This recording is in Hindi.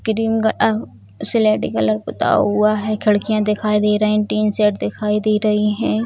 क्रीम आ स्लेटी कलर पुता हुआ है खिड़कियां दिखाई दे रहीं टीन सेड दिखाई दे रही हैं।